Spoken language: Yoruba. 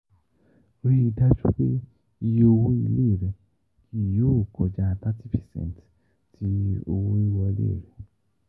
Rii daju pe iye owo ile rẹ kii yoo kọja thirty percent ti owo-wiwọle rẹ.